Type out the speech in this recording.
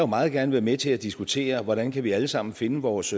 meget gerne være med til at diskutere hvordan kan vi alle sammen finde vores